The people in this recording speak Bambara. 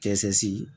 Kɛsɛsi